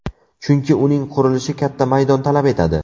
Chunki uning qurilishi katta maydon talab etadi.